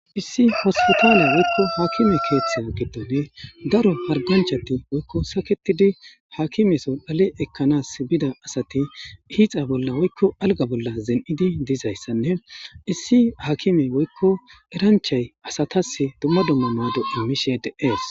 issi hospitale woykko haakime keeththa giddone daro harganchati woykko saketidi haakime sodhale ekkanas bida asati hiixa bolla woykko alga bolla zen7idi dizayssanne issi haakime woykko eranchay asatas dumma dummamaado imishe deees